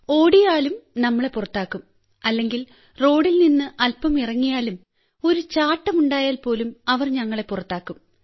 ഓടിയാലും നമ്മളെ പുറത്താക്കും അല്ലെങ്കിൽ റോഡിൽ നിന്ന് അൽപം ഇറങ്ങിയാലും ഒരു ചാട്ടം ഉണ്ടായാൽപോലും അവർ ഞങ്ങളെ പുറത്താക്കും